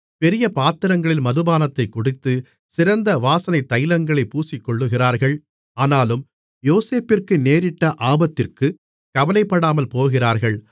பெரிய பாத்திரங்களில் மதுபானத்தைக் குடித்து சிறந்த வாசனைத்தைலங்களைப் பூசிக்கொள்ளுகிறார்கள் ஆனாலும் யோசேப்பிற்கு நேரிட்ட ஆபத்திற்குக் கவலைப்படாமல் போகிறார்கள்